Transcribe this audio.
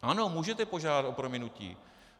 Ano, můžete požádat o prominutí.